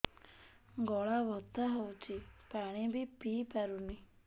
ଗଳା ବଥା ହଉଚି ପାଣି ବି ପିଇ ପାରୁନି